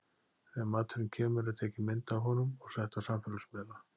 Þegar maturinn kemur er tekin mynd af honum og sett á samfélagsmiðla.